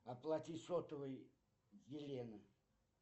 оплатить сотовый елена